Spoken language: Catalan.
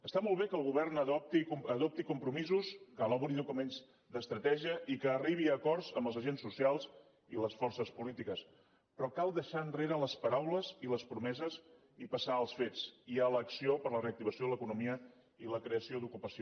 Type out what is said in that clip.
està molt bé que el govern adopti compromisos que elabori documents d’estratègia i que arribi a acords amb els agents socials i les forces polítiques però cal deixar enrere les paraules i les promeses i passar als fets i a l’acció per a la reactivació de l’economia i la creació d’ocupació